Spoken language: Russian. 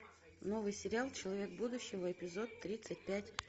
новый сериал человек будущего эпизод тридцать пять